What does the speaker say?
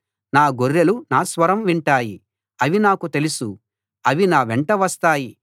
నా గొర్రెలు నా స్వరం వింటాయి అవి నాకు తెలుసు అవి నా వెంట వస్తాయి